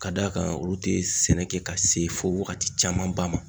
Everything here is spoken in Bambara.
Ka da kan ,olu te sɛnɛ kɛ ka se fɔ wagati caman ba ma.